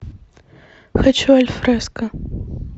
хочу альфреско